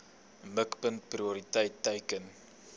mikpunt prioriteit teiken